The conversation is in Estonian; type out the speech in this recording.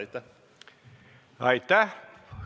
Aitäh!